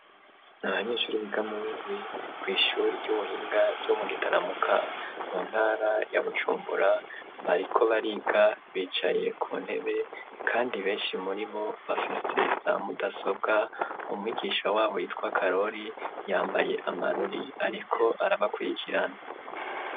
Abanyeshure biga muwindwi ku ishuree ry'ubuhinga ryo mu gitaramuka mu ntara ya Bujumbura bariko bariga bicaye ku ntebe kandi benshi muri bo bafise za mudasobwa umwigisha wabo yitwa Karori yambaye amarori ariko arabakurikirana.